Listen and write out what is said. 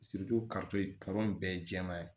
in bɛɛ ye jɛman ye